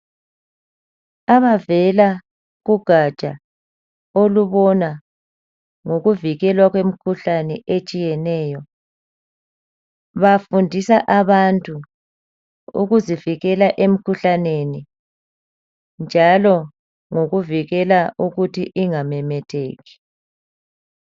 Abavela kugaja olubona ngokuvikwela kwemikhuhlane etshiyeneyo, bafundisa abantu ukuzivikela emikhuhlaneni , njalo ngokuvikela ukuthi ingamemetheki.